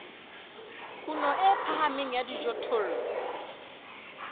kuno e phahameng ya dijothollo